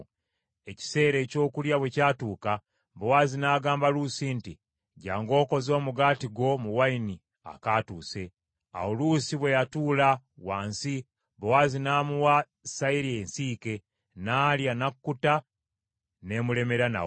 Ekiseera ekyokulya bwe kyatuuka, Bowaazi n’agamba Luusi nti, “Jjangu okoze omugaati gwo mu wayini akatuuse .” Awo Luusi bwe yatuula wansi, Bowaazi n’amuwa sayiri ensiike, n’alya, n’akkuta, n’emulemera nawo.